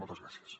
moltes gràcies